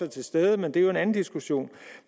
til stede men det er jo en anden diskussion